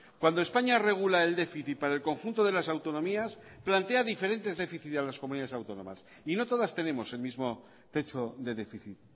cuando españa regula el déficit para el conjunto de las autonomías plantea diferentes déficit a las comunidades autónomas y no todas tenemos el mismo techo de déficit